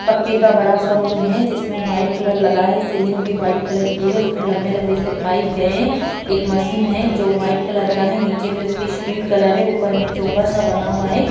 पक्के का बड़ा सा रूम है जिसमे व्हाइट कलर लगा है सीलिंग भी व्हाइट की है उसमे लंबे-लंबे से पाइप गये है एक मशीन है जो व्हाइट कलर का है नीचे पे उसकी स्टील कलर है ऊपर मे चोंगा सा बना हुआ है।